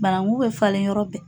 Banangu bɛ falen yɔrɔ bɛɛ.